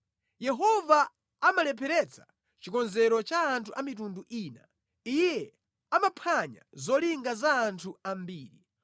Yehova amalepheretsa chikonzero cha anthu a mitundu ina; Iye amaphwanya zolinga za anthu ambiri.